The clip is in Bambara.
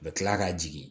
U bɛ kila k'a jigin